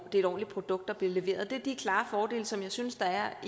er et ordentligt produkt der bliver leveret det er de klare fordele som jeg synes der er